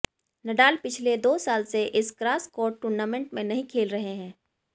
Nadal पिछले दो साल से इस ग्रास कोर्ट टूर्नामेंट में नहीं खेल रहे हैं